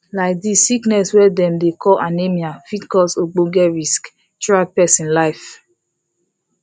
like this sickness wey dem dey call anemia fit cause ogboge risk throughout persin life